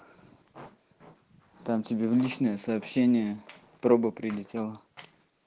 там тебе личное сообщение проба прилетела